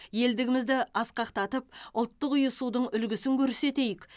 елдігімізді асқақтатып ұлттық ұйысудың үлгісін көрсетейік